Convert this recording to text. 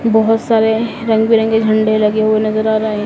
बहुत सारे रंग बिरंगे झंडे लगे हुए नजर आ रहे--